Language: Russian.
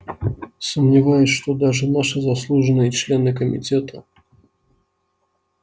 сомневаюсь что даже наши заслуженные члены комитета